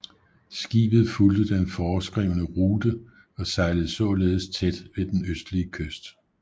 Skibet fulgte den foreskrevne rute og sejlede således tæt ved den østlige kyst